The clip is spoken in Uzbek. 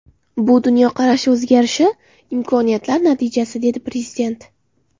Bu dunyoqarash o‘zgarishi, imkoniyatlar natijasi”, dedi Prezident.